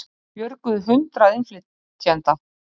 Björguðu hundruð innflytjenda